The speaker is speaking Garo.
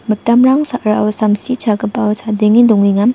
mitamrang sa·rao samsi chagipao chadenge dongenga.